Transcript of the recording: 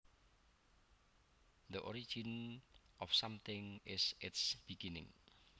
The origin of something is its beginning